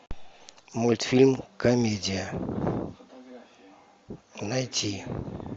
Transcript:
мультфильм комедия найти